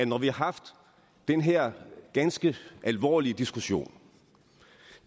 når vi har haft den her ganske alvorlige diskussion